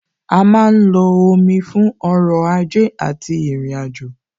A má ń lo omi fún ọrọ̀ ajé àti ìrìnàjò,